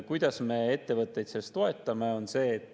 Kuidas me ettevõtteid selles toetame?